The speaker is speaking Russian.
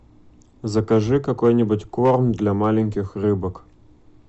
закажи какой нибудь корм для маленьких рыбок